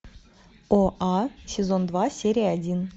оа сезон два серия один